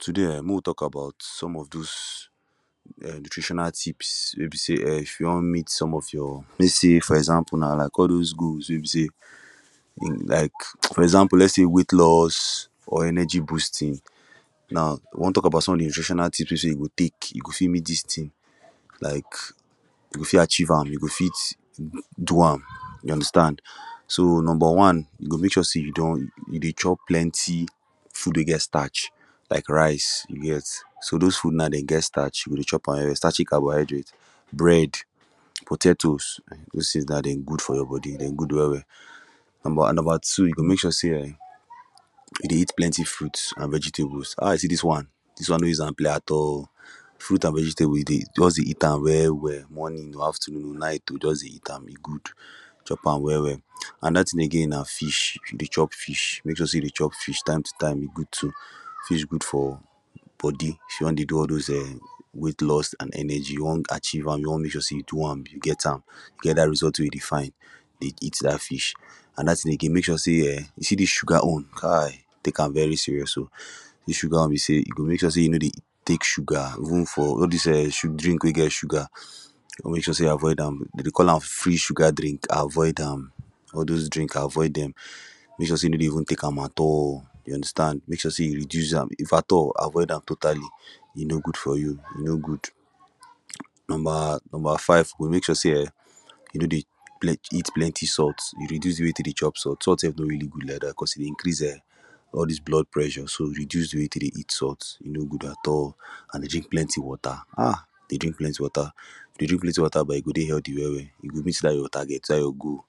Today[um]mek we tok about some of those um nutritional tips wey be say um if you wan meet some of your wey les say for example now like all those goals wey be say like for example let’s say weight loss or energy boosting now we wan tok about some of de nutritional tips wey be say you go tek you go fit meet dis like you go fit achieve am you go fit do am you understand so number one you go mek sure say you don you dey chop plenty food wey get starch like rice you get so those food now dey get starch you go dey chop am um starchy carbohydrates bread potatoes those tins now dem good for your body dem good well well number number two you go mek sure say um you dey eat plenty fruits an vegetables how I see this one dis one no use am play at all fruits an vegetables e dey just dey eat am well well morning afternoon night oo just dey eat am e good chop am well well anoda tin again na fish you dey chop fish make sure say you dey chop fish time to time e good too fish good for body if you wan dey do all those um weight loss an energy you wan achieve am you wan make sure say you do am you get am you get dat result wey you dey find dey eat dat fish anoda tin again mek sure say um you see dis sugar own kai Tek am very serious oo de sugar own be say you go mek sure say you no dey Tek sugar even for eh all dis sugary drink wey get sugar mek sure say you avoid dem dey call am free sugar drink avoid am all those drinks avoid dem mek sure say you no dey even Tek am at all you understand mek sure say you reduce am infact ah toor avoid am totally e no good for you e no good number number five you go mek sure say um you no dey eat plenty salt you reduce wetin you chop salt sef no really good like dat becos e dey increase um all dis blood pressure so reduce de way wey you Tek dey eat salt e no good at all an dey drink plenty wata um dey drink plenty wata if you dey drink plenty wata ba you go dey healty well well you go meet dat your target dat your goal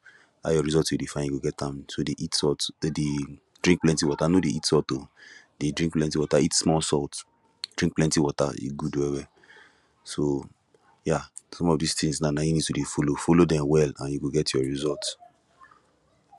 dat your results wey you dey find you go get am so dey eat salt no dey drink plenty water no dey eat salt oo dey drink plenty water eat small salt drink plenty water e good well well so yeah some of dis tins now na him need to dey follow follow dem well an you go get your result